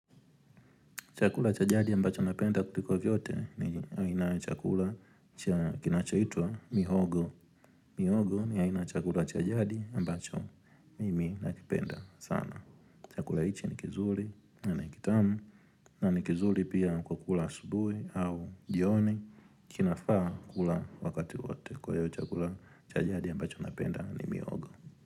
Chakula cha jadi ambacho napenda kuliko vyote ni aina ya chakula kinachoitwa mihogo. Mihogo ni aina ya chakula cha jadi ambacho mimi nakipenda sana. Chakula hichi ni kizuri na ni kitamu na ni kizuri pia kukula asubuhi au jioni kinafaa kula wakati wote. Kwa hiyo chakula cha jadi ambacho napenda ni mihogo.